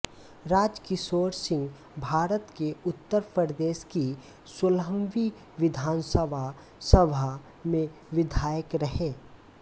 राजकिशोर सिंहभारत के उत्तर प्रदेश की सोलहवीं विधानसभा सभा में विधायक रहे